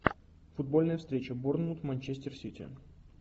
футбольная встреча борнмут манчестер сити